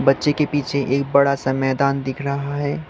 बच्चे के पीछे एक बड़ा सा मैदान दिख रहा है।